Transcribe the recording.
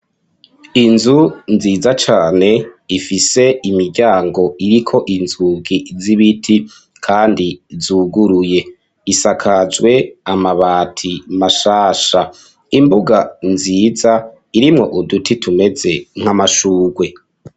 Inzu nziza cane ifise imiryango iriko inzugi z'ibiti kandi zuguruye, isakajwe amabati mashasha imbuga nziza irimwo uduti tumeze nk'amashugwe.